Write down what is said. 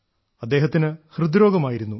അദ്ദേഹത്തിന് ഹൃദ്രോഗമായിരുന്നു